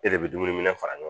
E de bɛ dumuni fara ɲɔgɔn kan